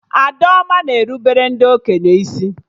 Adaoma na erubere ndị okenye isi